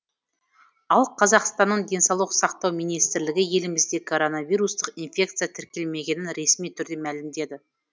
ал қазақстанның денсаулық сақтау министрлігі елімізде коронавирустық инфекция тіркелмегенін ресми түрде мәлімдеді